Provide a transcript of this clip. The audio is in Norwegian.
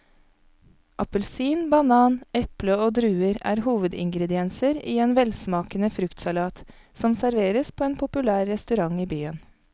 Appelsin, banan, eple og druer er hovedingredienser i en velsmakende fruktsalat som serveres på en populær restaurant i byen.